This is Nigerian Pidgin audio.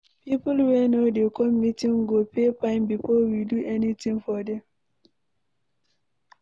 People wey no dey come meeting go pay fine before we do anything for dem.